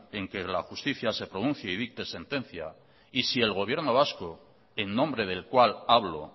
en que la justicia se pronuncie y dicte sentencia y si el gobierno vasco en nombre del cual hablo